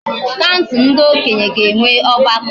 kansul ndi okenye ga enwe ogbako